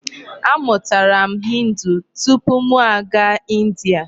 A mụtara m Hindi tupu mụ aga India.